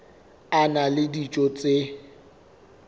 a na le dijo tse